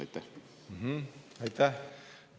Aitäh!